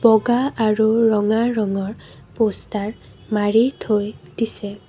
বগা আৰু ৰঙা ৰঙৰ প'ষ্টাৰ মাৰি থৈ দিছে।